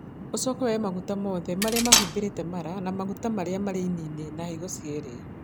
Ũcoke woe maguta mothe+ marĩa mahumbĩrĩte mara, na maguta marĩa marĩ ini-inĩ, na higo cierĩ